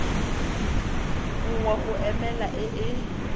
nngwe go emela e e